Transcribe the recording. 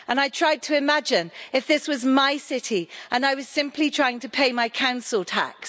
I tried to imagine if this was my city and I was simply trying to pay my council tax